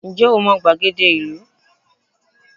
Ǹ jé o mo gbàgede ìlú